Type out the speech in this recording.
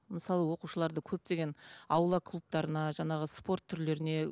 мысалы оқушыларды көптеген аула клубтарына жаңағы спорт түрлеріне